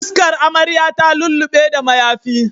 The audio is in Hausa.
Fuskar amarya ta lullu6e da mayafi